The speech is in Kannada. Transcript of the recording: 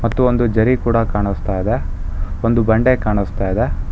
ಮತ್ತು ಒಂದು ಜರಿ ಕೂಡ ಕಾಣಿಸ್ತಾ ಇದೆ ಒಂದು ಬಂಡೆ ಕಾಣಿಸ್ತಾ ಇದೆ.